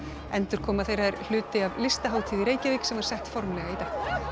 endurkoma þeirra er hluti af Listahátíð í Reykjavík sem var sett formlega í dag